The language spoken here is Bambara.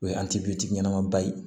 O ye ɲɛnama ba ye